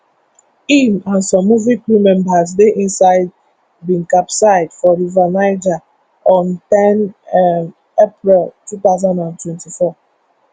im and some movie crew members dey inside bin capsize for river niger on ten um april two thousand and twenty-four